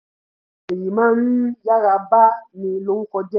èyàn máa rí yára ba ni lórúko jẹ́